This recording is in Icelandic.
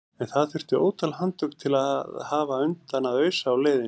En það þurfti ótal handtök til að hafa undan að ausa á leiðinni.